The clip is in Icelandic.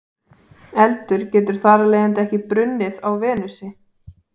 Eldur getur þar af leiðandi ekki brunnið á Venusi.